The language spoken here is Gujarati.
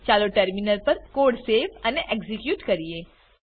ચાલો ટર્મિનલ પર કોડ સેવ અને એક્ઝીક્યુટ કરીએ